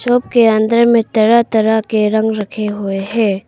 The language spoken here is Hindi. के अंदर में तरह तरह के रंग रखे हुए हैं।